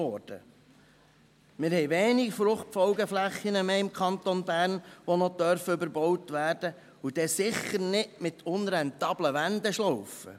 Im Kanton Bern haben wir nur noch wenige Fruchtfolgeflächen, die überbaut werden dürfen – wenn, dann sicher nicht mit unrentablen Wendeschlaufen!